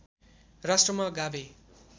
राष्ट्रमा गाभे